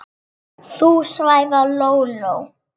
Þú svæfa Lóló